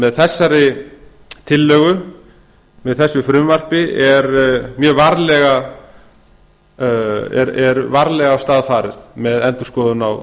með þessari tillögu með þessu frumvarpi er varlega af stað farið með endurskoðun á